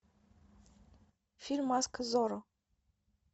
фильм маска зорро